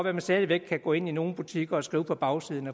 at man stadig væk kan gå ind i nogle butikker og skrive på bagsiden